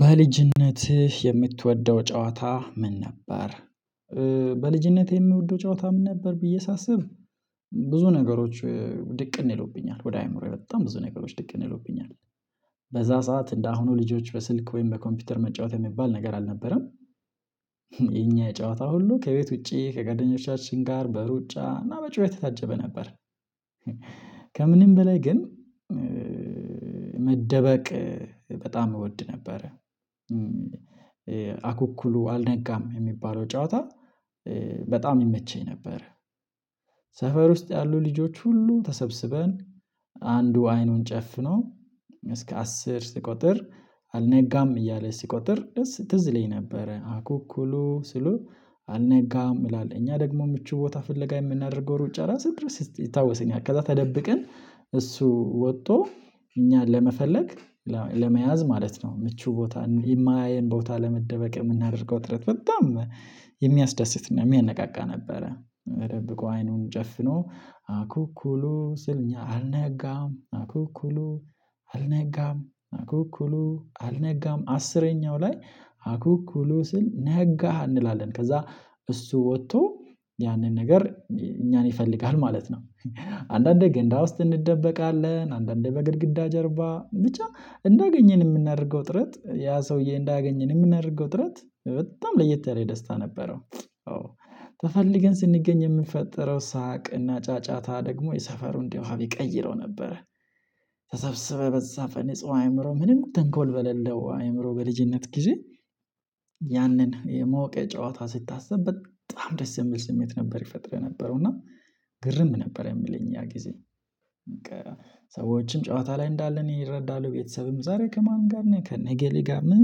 በልጅነት የምትወደው ጨዋታ ምን ነበር? በልጅነት የምወደው ጨዋታ ምን ነበር ብዬ ሳስብ ብዙ ነገሮች ድቅን ይለውብኛል ወደ አእምሮዬ በጣም ብዙ ነገሮች ድቅን ይሉብኛል በዛ ሰዓት እንደአሁኑ ልጆች በስልክ ወይም በኮምፒውተር መጫወት የሚባል ነገር አልነበረም። የጨዋታ ሁሉ ከቤት ውጪ ከጓደኞቻችን ጋር በሩጫ እና በጩኸት ታጀበ ነበር። ከምንም በላይ ግን መደበቅ በጣም እወድ ነበር አኩኩሉ አልነጋም የሚባለው ጨዋታ በጣም ይመቸኝ ነበር። ሰፈር ውስጥ ያሉ ልጆች ሁሉ ተሰብስበን አንዱ አይኑን ጨፍኖ እስከ አስር ስቆጥር አልነጋም እያለ ስቆጥር ትዝ ይለኝ ነበረ። አኩኩሉ ስሉ አልነጋም እላለሁ እኛ ደግሞ ምቹ ቦታ ፍለጋ የምናደርገው ሩጫ ራስ ድረስ ይታወስን ያከዛ ተደብቀን እሱ ወጥቶ እኛን ለመፈለግ ለመያዝ ማለት ነው። ምቹ ቦታ የማያየን ቦታ ለመደበቅ የምናደርገው ጥረት በጣም የሚያስደስትና የሚያነቃቃ ነበረ። ተደብቆ አይኑን ጨፍኖ አኩኩሉ ስልኛ አልነጋም አኩኩሉ አልነጋም አኩኩሉ አልነጋም አስረኛው ላይ አኩኩሉ ስንል ነጋህ እንላለን ከዛ እሱ ወጥቶ ያንን ነገር እኛን ይፈልጋል ማለት ነው። አንዳንዴ ገንዳ ውስጥ እንደበቃለን አንዳንዴ በግድግዳ ጀርባ ብቻ እንዳገኘን የምናደርገው ጥረት ያ ሰውዬ እንዳገኘን የምናደርገው ጥረት በጣም ለየት ያለ ደስታ ነበረው። ተፈልገን ስንገኝ የምንፈጠረው ሳቅና ጫጫታ ደግሞ የሰፈሩን ድባብ ይቀይረው ነበረ። ተሰብስበህ በዛ ፈነጹ አእምሮ ምንም ተንኮል በሌለው አእምሮ በልጅነት ጊዜ ያንን የማወቅ የጨዋታ ስታስብ በጣም ደስ የሚል ስሜት ነበር ይፈጥርህ ነበረው። እና ግርም ነበር የምልህ እኛ ጊዜ ሰዎችን ጨዋታ ላይ እንዳለ እኔ እረዳለሁ ቤተሰብም ዛሬ ከማን ጋር ነኝ ከነገሌ ጋር ምን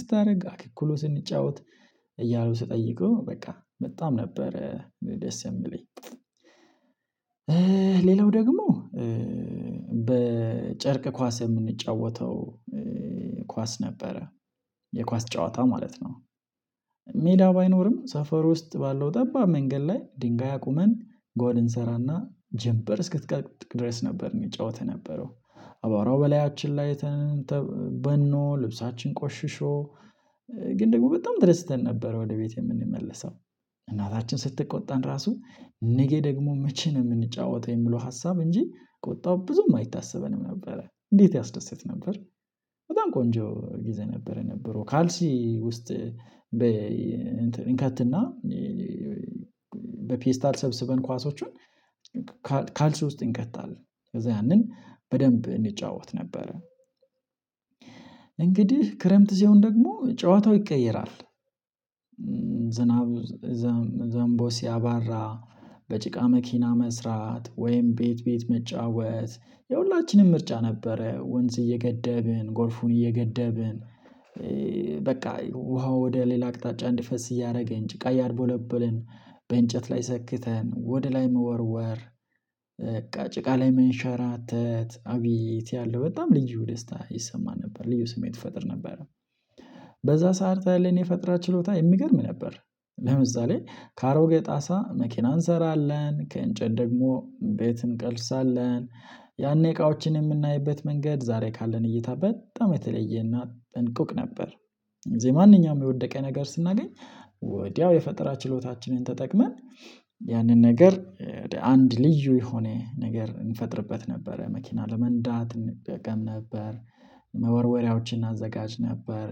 ስታደርግ አክኩሉ ስንጫወት እያሉ ስጠይቁ በቃ በጣም ነበረ ደስ የሚለኝ። ሌላው ደግሞ በጨርቅ ኳስ የምንጫወተው ኳስ ነበረ የኳስ ጨዋታ ማለት ነው። ሜዳ ባይኖርም ሰፈር ውስጥ ባለው ጠባብ መንገድ ላይ ድንጋይ አቁመን ጎል እንሰራና ጀምበር እስከትጠልቅ ድረስ ነበር የሚጫወተው ነበረው። አባራው በላያችን ላይ ተ በኖ ልብሳችን ቆሽሽሮ ግን ደግሞ በጣም ተደስተን ነበር። ወደ ቤቴ የምንመለሰው እናታችን ስትቆጣን ራሱ ነገ ደግሞ መቼ ነው የምንጫወተው የሚለው ሀሳብ እንጂ ቆጣው ብዙም አይታሰበንም ነበረ እንዴት ያስደስት ነበር። በጣም ቆንጆ ጊዜ ነበር የነበረው ካልሲ ውስጥ በ እንከትና በፔስታል ሰብስበን ኳሶችን ካልስ ውስጥ እንከታለን ከዛ ያንን በደንብ እንጫወት ነበረ። እንግዲህ ክረምት እዚሁን ደግሞ ጨዋታው ይቀየራል። ዝናቡ ዘምቦ ሲያባራ በጭቃ መኪና መስራት ወይም ቤት ቤት መጫወት የሁላችንም ምርጫ ነበረ። ወንዝ እየገደብን ጎርፉን እየገደብን በቃ ውሃው ወደ ሌላ አቅጣጫ እንዲፈስ እያደረገን ጭቃ እያደበለበልን በእንጨት ላይ ሰክተን ወደ ላይ መወርወር በቃ ጭቃ ላይ መንሸራተት አቤት ያለው በጣም ልዩ ደስታ ይሰማ ነበር ልዩ ስሜት ይፈጥር ነበር። ሰዓት አለን የፈጠራ ችሎታ የሚገርም ነበር። ለምሳሌ ካሮጌ ጣሳ መኪና እንሰራለን ከእንጨት ደግሞ ቤት እንቀልሳለን ያኔ እቃዎችን የምናይበት መንገድ ዛሬ ካለን እይታ በጣም የተለየ እና ጥንቁቅ ነበር። እዚህ ማንኛውም የወደቀ ነገር ስናገኝ ወዲያው የፈጠራ ችሎታችንን ተጠቅመን ያንን ነገር አንድ ልዩ የሆነ ነገር እንፈጥርበት ነበረ መኪና ለመንዳት እንጠቀም ነበር። መወርወሪያዎችን እናዘጋጅ ነበር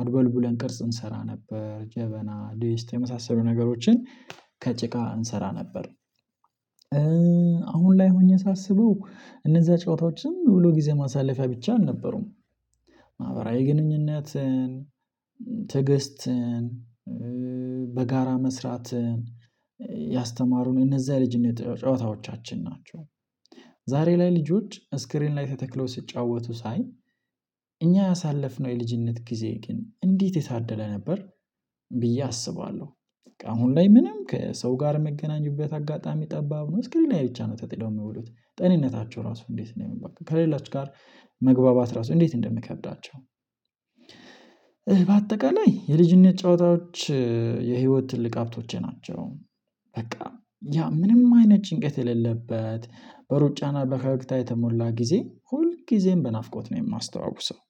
አድበልቡለን ቅርጽ እንሰራ ነበር ጀበና ዲስት የመሳሰሉ ነገሮችን ከጭቃ እንሰራ ነበር። አሁን ላይ ሆኜ ሳስበው እነዛ ጨዋታዎችን ዝምብሎ ጊዜ ማሳለፊያ ብቻ አልነበሩም። ማህበራዊ ግንኙነትን ትዕግስትን በጋራ መስራት ያስተማሩን እነዛ የልጅነት ጨዋታዎቻችን ናቸው። ዛሬ ላይ ልጆች ስክሪን ላይ ተተክለው ስትጫወቱ ሳይ እኛ ያሳለፍነው የልጅነት ጊዜ ግን እንዴት የታደለ ነበር። ብዬ አስባለሁ። አሁን ላይ ምንም ከሰው ጋር መገናኙበት አጋጣሚ ጠባብ ነው። እስክሪን ብቻ ነው። ተጥደው የሚውሉት ጤንነታቸው ራሱ እንዴት ነው? የሚባክን ከሌላችሁ ጋር መግባባት ራሱ እንዴት እንደምከብዳቸው? በአጠቃላይ የልጅነት ጨዋታዎች የህይወት ትልቅ ሀብቶቼ ናቸው። በቃ ያ ምንም አይነት ጭንቀት የሌለበት በሩጫና በፈገግታ የተሞላ ጊዜ ሁል ጊዜም በናፍቆት ነው የማስተዋውሰው።